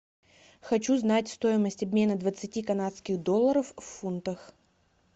хочу знать стоимость обмена двадцати канадских долларов в фунтах